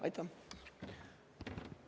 Aitäh!